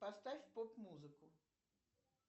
поставь поп музыку